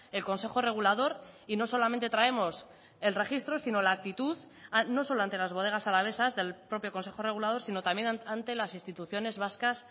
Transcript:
el consejo regulador y no solamente traemos el registro sino la actitud no solo ante las bodegas alavesas del propio consejo regulador sino también ante las instituciones vascas